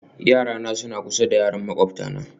Yarana suna kusa da yaran makwabtana